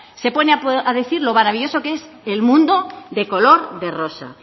se pone a decir lo maravilloso que es el mundo de color de rosa